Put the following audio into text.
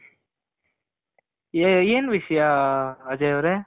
ಏನ್ ವಿಷ್ಯ ಅಜಯ್ ಅವ್ರೆ